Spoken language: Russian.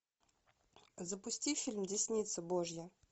запусти фильм десница божья